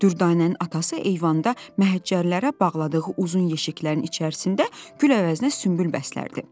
Dürdanənin atası eyvanda məhəccərlərə bağladığı uzun yeşiklərin içərisində gül əvəzinə sümbül bəslərdi.